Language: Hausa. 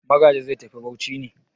Magaji zai tafi Bauchi ne?